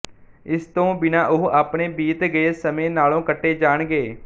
ਇਸ ਤੋਂ ਬਿਨ੍ਹਾਂ ਉਹ ਆਪਣੇ ਬੀਤ ਗਏ ਸਮੇਂ ਨਾਲੋਂ ਕੱਟੇ ਜਾਣਗੇ